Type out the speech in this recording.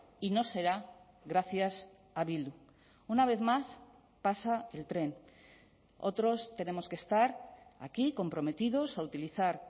y no será gracias a bildu una vez más pasa el tren otros tenemos que estar aquí comprometidos a utilizar